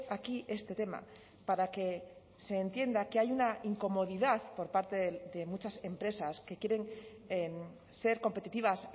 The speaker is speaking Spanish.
aquí este tema para que se entienda que hay una incomodidad por parte de muchas empresas que quieren ser competitivas